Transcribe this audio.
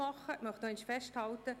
Ich möchte noch einmal festhalten: